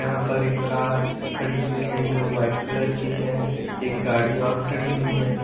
यहाँ पर एक कार खड़ी हुई है जो वाइट कलर की है एक गाड़ी और खड़ी हुई है।